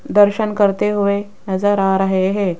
दर्शन करते हुए नजर आ रहे है।